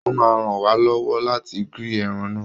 Ó máa ràn wá lọ́wọ́ láti grill ẹran ńà.